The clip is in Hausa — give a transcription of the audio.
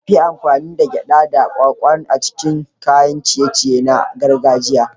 An fi amfani da gyaɗa da kwakwa a cikin kayan ciye-ciye na gargajiya.